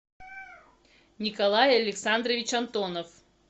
николай александрович антонов